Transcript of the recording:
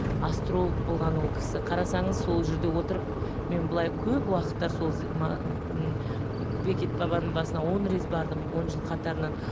астролог болған ол кісі қарасаңыз сол жерде отырып мен былай көп уақытта сол бекет бабаның басына он рет бардым он жыл қатарынан